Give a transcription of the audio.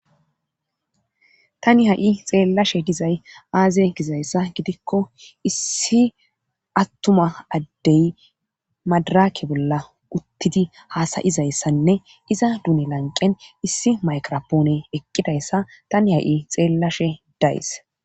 tani ha7i xeellashe dizay aaze gizayssa gidikko issi attuma addey madaraake bolla uttidi haasayizayssanne iza duune lanqen issi maykrapoone eqqidayssa tani ha7i xeellashe days